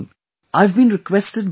I have been requested by Dr